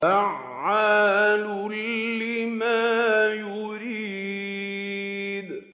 فَعَّالٌ لِّمَا يُرِيدُ